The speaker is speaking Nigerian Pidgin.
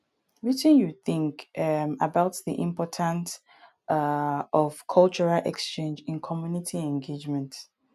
wetin you think um about di importance um of cultural exchange in community engagement